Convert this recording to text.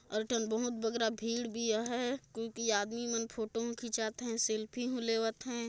अऊ एक ठिन बहुत बड़का भीड़ भी आहैं क्योंकि आदमी मन फोटो मे खिचाये हैं सेल्फ़ी भी लेवत हैं।